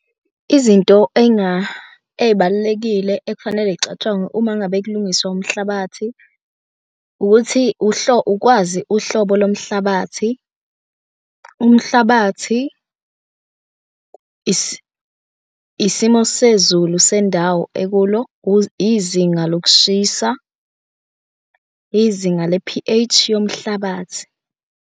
Izinto ey'balulekile ekufanele iy'catshangwe uma ngabe kulungiswa umhlabathi, ukuthi ukwazi uhlobo lomhlabathi. Umhlabathi, isimo sezulu sendawo ekulo, izinga lokushisa, izinga le-P_H yomhlabathi.